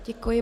Děkuji.